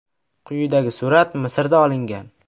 Quyidagi surat Misrda olingan.